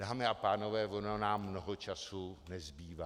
Dámy a pánové, ono nám mnoho času nezbývá.